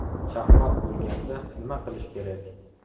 Chaqmoq bo‘lganda nima qilish kerak?.